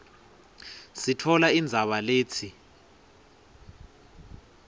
sitfola indzaba letsi